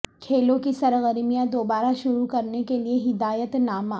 کھیلوں کی سرگرمیاں دوبارہ شروع کرنے کے لیے ہدایت نامہ